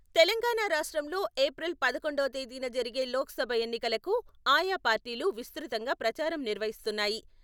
తెలంగాణ రాష్ట్రంలో ఏప్రిల్ పదకొండవ తేదీన జరిగే లోక్ సభ ఎన్నికలకు ఆయా పార్టీలు విస్తృత్తంగా ప్రచారం నిర్వహిస్తున్నాయి.